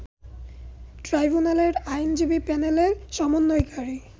ট্রাইব্যুনালের আইনজীবী প্যানেলের সমন্বয়কারী